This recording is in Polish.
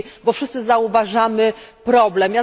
Wszyscy zauważamy problem.